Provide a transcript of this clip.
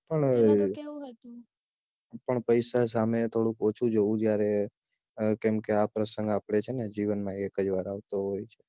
પણ એવું પણ પૈસા સામે થોડુંક ઓછું જોવું જયારે કેમ કે આ પ્રસંગ આપડે છે ને જીવનમાં એક જ વાર આવતો હોય છે